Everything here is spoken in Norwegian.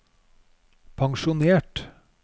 pensjonert